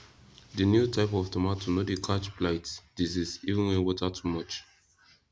the new type of tomato no dey catch blight disease even when water too much